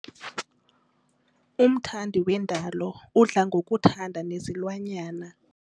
Umthandi wendalo udla ngokuthanda nezilwanyana.